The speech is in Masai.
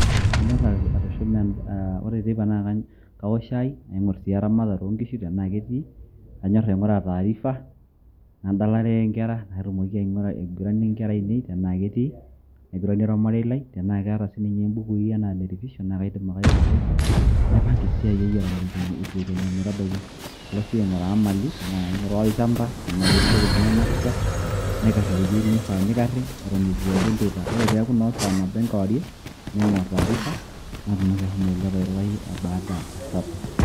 Kanyor atushuma eh ore teipa na kaok shai, naing'or si eramatare o nkishu tenaa ketii, nanyor aing'ura tariff, nadalare inkera natumoki aiguranie nkera ainei tenaa ketii, naiguranie ormarei lai, tenaa kaata sininye ibukui enaa ne revision kaidim ake airivaisa. Naipanka esiai ai eton eitu ekenyu metabaiki. Alo si aing'uraa mali ena kaing'uraa olchamba tenaa ketii intokitin nainosita, naikar iwuejiting' naifaa nikarri eton eitu eeku enteipa. Ore peeku no sa nabo enkewarie, naing'or tariff natumoki ashomo ailepa airurayu e baada super.